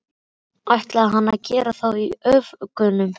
ætlaði hann að gera það í áföngum?